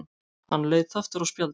Hann leit aftur á spjaldið.